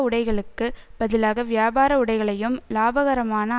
உடைகளுக்குப் பதிலாக வியாபார உடைகளையும் இலாபகரமான